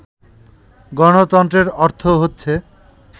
গণতন্ত্রের অর্থ হচ্ছে